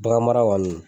Bagan mara kɔni